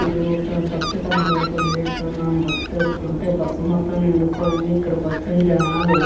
ఇది ఒక బస్ కనబడుతుంది ఇక్కడ మనం బస్ చూసుకుంటే బస్ మొత్తం నిండిపోయింది ఇక్కడికి వచ్చిన జనాలు --